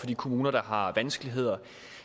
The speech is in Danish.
for de kommuner der har vanskeligheder